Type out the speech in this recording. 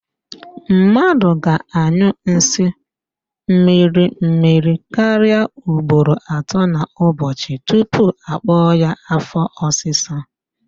Mmadụ ga-anyụ nsị mmirimmiri karịa ugboro atọ n'ụbọchị tupu akpọ ya afọ ọsịsa